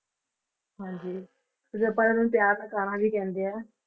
ਹਾਂਜੀ ਨੂੰ ਪਿਆਰ ਨਾਲ ਕਾਨਹਾ ਵੀ ਕਹਿੰਦੇ ਹੈ।